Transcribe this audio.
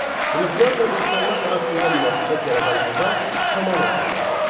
Ruhlarla insanlar arasında münasibət yaradan adam Şaman adlanırdı.